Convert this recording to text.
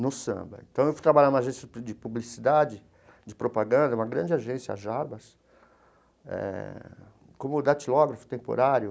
No samba então eu fui trabalhar numa agência de publicidade, de propaganda, uma grande agência, a Jarbas, eh como datilógrafo temporário.